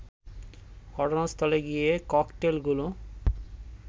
ঘটনাস্থলে গিয়ে ককটেলগুলো